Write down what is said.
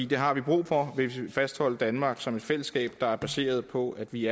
det har vi brug for hvis vi vil fastholde danmark som et fællesskab der er baseret på at vi